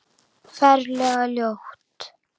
Ferlega ljót.